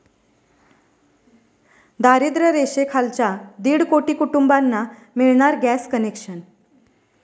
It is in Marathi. दारिद्र्य रेषेखालच्या दीड कोटी कुटुंबांना मिळणार गॅस कनेक्शन!